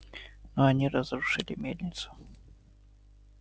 но они разрушили мельницу